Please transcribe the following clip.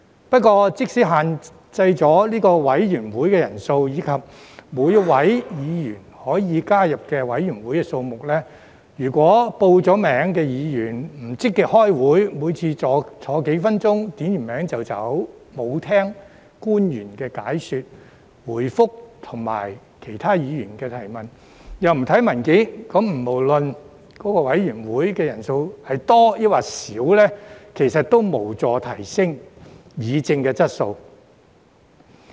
不過，即使限制委員會人數，以及每位議員可以加入委員會的數目，如果已報名的議員不積極開會，每次坐幾分鐘，點了名便走，沒有聽取官員的解說、回覆及其他議員的提問，又不看文件，那麼不論該委員會的人數是多或少，其實亦無助提升議政的質素。